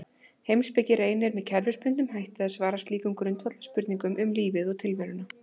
Heimspeki reynir með kerfisbundnum hætti að svara slíkum grundvallarspurningum um lífið og tilveruna.